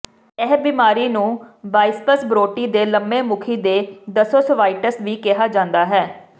ਇਹ ਬਿਮਾਰੀ ਨੂੰ ਬਾਇਸਪਜ਼ ਬ੍ਰੋਟੀ ਦੇ ਲੰਬੇ ਮੁਖੀ ਦੇ ਦਸੋਸੋਵਾਇਟਿਸ ਵੀ ਕਿਹਾ ਜਾਂਦਾ ਹੈ